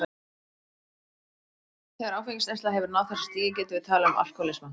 Þegar áfengisneysla hefur náð þessu stigi getum við talað um alkohólisma.